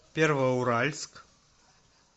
первоуральск